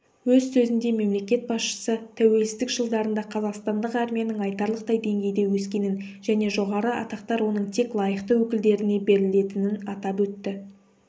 өз сөзінде мемлекет басшысы тәуелсіздік жылдарында қазақстандық армияның айтарлықтай деңгейде өскенін және жоғары атақтар оның тек лайықты өкілдеріне берілетінін атап өтті